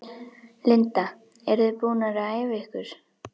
Linda: Eruð þið búnar að æfa ykkur?